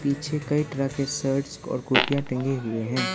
पीछे कई तरह के शर्ट और कुर्तियां टंगी हुए हैं।